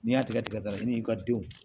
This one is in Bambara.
N'i y'a tigɛ tigɛra i n'i ka denw